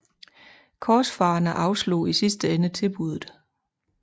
Korsfarerne afslog i sidste ende tilbuddet